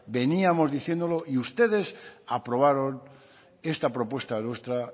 veníamos diciéndolo y ustedes aprobaron esta propuesta nuestra